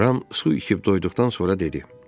Ram su içib doyduqdan sonra dedi: